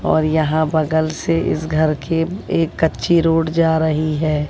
और यहां बगल से इस घर के एक कच्ची रोड जा रहीं हैं।